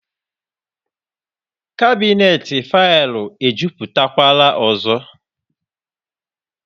Kabinet faịlụ ejuputakwara ọzọ